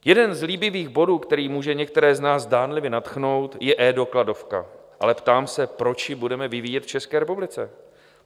Jeden z líbivých bodů, který může některé z nás zdánlivě nadchnout, je eDokladovka, ale ptám se, proč ji budeme vyvíjet v České republice?